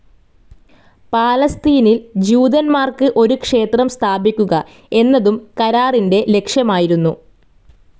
പാലസ്തീനിൽ ജ്യൂതന്മാർക്ക് ഒരു ക്ഷേത്രം സ്ഥാപിക്കുക എന്നതും കരാറിൻ്റെ ലക്ഷ്യമായിരുന്നു.